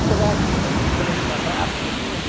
Será que o Papai do Céu vai ficar bravo comigo?